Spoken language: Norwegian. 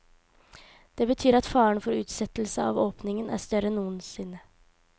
Det betyr at faren for utsettelse av åpningen er større enn noensinne.